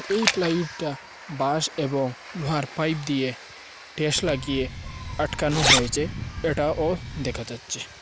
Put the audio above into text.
এই প্লাইউডটা বাশ এবং লোহার পাইপ দিয়ে টেস লাগিয়ে আটকানো হয়েছে এটা দেখা যাচ্ছে।